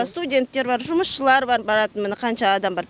студенттер бар жұмысшылар бар баратын міне қанша адам бар